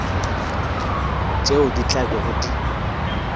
tšeo di tla bego di